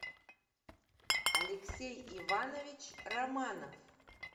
алексей иванович романов